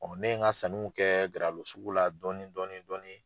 ne ye n ka sanniw kɛ Garalo sugu la dɔɔni dɔɔni dɔɔni.